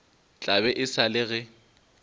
tla be e le ge